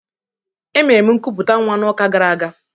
Emere m nkuputa nwa n'ụka gara aga.